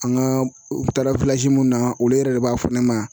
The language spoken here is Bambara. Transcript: An ka taara mun na olu yɛrɛ de b'a fɔ ne ma